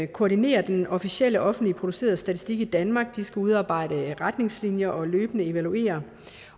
koordinere den officielle offentligt producerede statistik i danmark de skal udarbejde retningslinjer og løbende evaluere